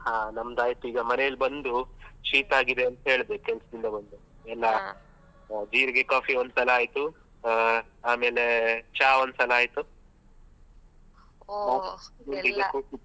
ಹ ನಮ್ದಾಯ್ತೀಗ ಮನೇಲ್ ಬಂದು ಶೀತಾಗಿದೆ ಅಂತ ಹೇಳ್ದೆ ಕೆಲ್ಸದಿಂದ ಬಂದು ಎಲ್ಲ ಜೀರಿಗೆ coffee ಒಂದ್ಸಲ ಆಯ್ತು ಹ ಆಮೇಲೆ ಚಾ ಒಂದ್ಸಲ ಆಯ್ತು .